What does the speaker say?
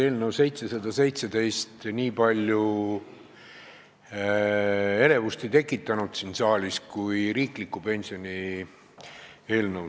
Eelnõu 717 ei tekitanud siin saalis nii palju elevust kui riikliku pensionikindlustuse seaduse muutmise eelnõu.